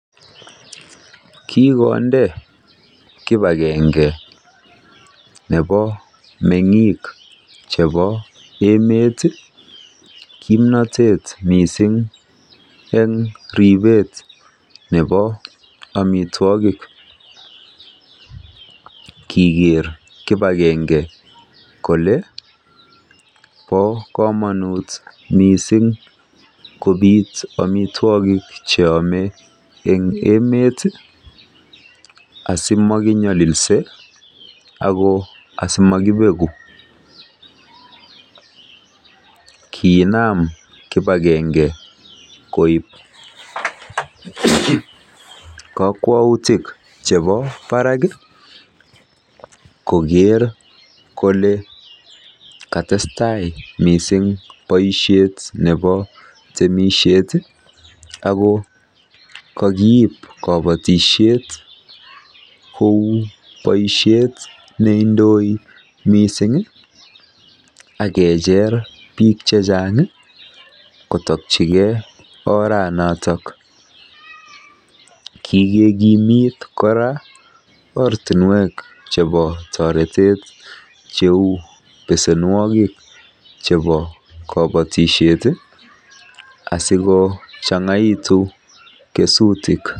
Kikonde kip agenge nepo meng'ik chepo emet kimnatet missing' eng' ripet nepo amitwogik. Kiker kip agenge kole pa kamanut missing' kopit amitwogik che ame eng' emet asimakinyalilse ak asimakipeku. Kiinam kip agenge koip kakwautik chepo parak koker kole ka tes tai missing' poishet nepo temishet ako kakiip kapatishet kou poishet ne indoi missing' ak kecher pik che chang' kotakchigei oranotok. Kikekimit kora ortinwek chepa taretet cheu pesenwek chepo kapatishet asikochang'aitu kesutik.